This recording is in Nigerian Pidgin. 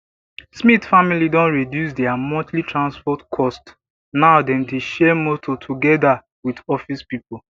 smith family don reduce dia monthly transport cost now dem dey share motor togeda with office pipo